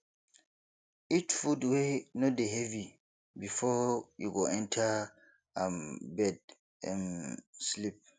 eat food wey no dey heavy before you go enter um bed um sleep